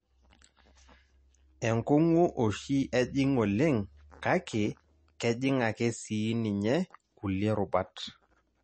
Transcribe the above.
Enkungu oshi ejing oleng kake kejing ake sii ninye kulie rubat.